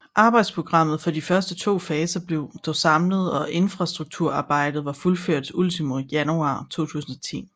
Arbejdsprogrammet for de første to faser blev dog samlet og infrastrukturarbejdet var fuldført ultimo januar 2010